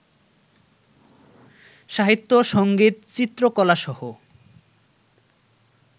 সাহিত্য, সংগীত, চিত্রকলাসহ